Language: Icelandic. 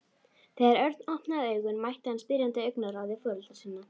Þegar Örn opnaði augun mætti hann spyrjandi augnaráði foreldra sinna.